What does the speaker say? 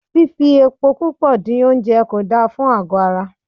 Fifi epo púpò dín oúnjẹ kò da fún àgọ́ ara.